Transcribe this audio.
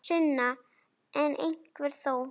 Sunna: En einhver þó?